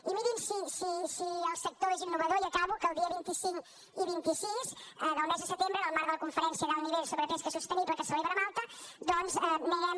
i mirin si el sector és innovador i acabo que el dia vint cinc i vint sis del mes de setembre en el marc de la conferència d’alt nivell sobre pesca sostenible que es celebra a malta doncs anirem